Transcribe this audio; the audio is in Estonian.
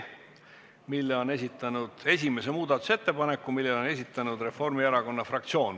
See on esimene muudatusettepanek, esitaja on Reformierakonna fraktsioon.